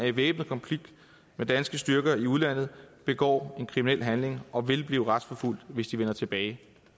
i væbnet konflikt med danske styrker i udlandet begår en kriminel handling og vil blive retsforfulgt hvis de vender tilbage